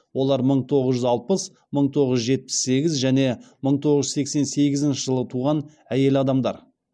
олар мың тоғыз жүз алпыс мың тоғыз жүз жетпіс сегіз және мың тоғыз жүз сексен сегізінші жылы туған әйел адамдар